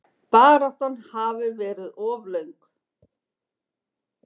Baráttan hafi verið of löng.